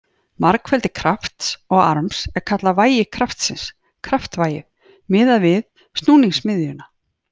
Margfeldi krafts og arms er kallað vægi kraftsins, kraftvægið, miðað við snúningsmiðjuna.